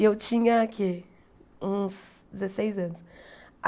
E eu tinha o que uns dezesseis anos.